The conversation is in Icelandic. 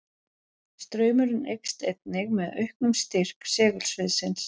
Straumurinn eykst einnig með auknum styrk segulsviðsins.